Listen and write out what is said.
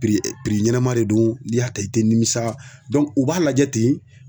[cs ɲɛnama de don n'i y'a ta i tɛ nimisa u b'a lajɛ ten.